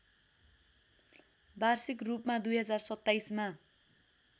वार्षिक रूपमा २०२७ मा